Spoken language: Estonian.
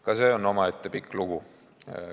Ka see on omaette pikk lugu.